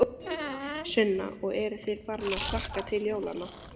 Sunna: Og eruð þið farin að hlakka til jólanna?